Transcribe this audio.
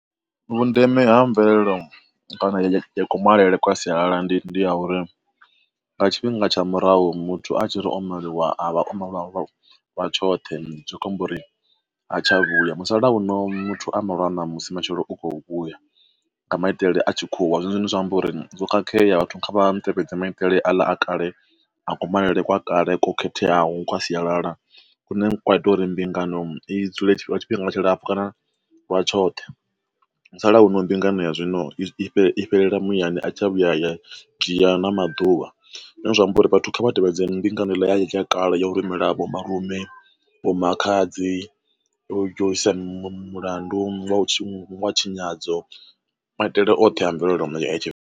Vhundeme ha mvelelo kana ya kumalele kwa sialala ndi ndi ya uri, nga tshifhinga tsha murahu muthu a tshi ri o maliwa a vha o tshoṱhe zwi khou amba uri a tsha vhuya. Musalauno muthu a malwa ṋamusi matshelo u khou vhuya nga maitele a tshikhuwa zwone zwine zwa amba uri zwo khakhea vhathu kha vha tevhedza maitele a kale a kumalele kwa kale ko khetheaho kha sialala kune kwa ita uri mbingano i dzule lwa tshifhinga tshilapfhu kana wa tshoṱhe. Musalauno mbingano ya zwino i i fhelela muyani a i tsha vhuya ya dzhia na maḓuvha, zwine zwa amba uri vhathu vha tevhedze mbingano i ḽa ya kale ya u rumela vho malume, vho makhadzi, u isa mulandu wa u tshinyadzo maitele oṱhe a mvelele ya tshive.